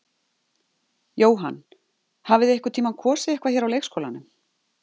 Jóhann: Hafið þið einhvern tímann kosið eitthvað hér á leikskólanum?